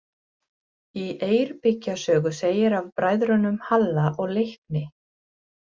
Í Eyrbyggja sögu segir af bræðrunum Halla og Leikni: